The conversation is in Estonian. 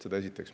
Seda esiteks.